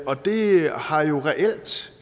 og det har jo reelt